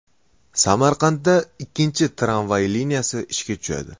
Samarqandda ikkinchi tramvay liniyasi ishga tushadi.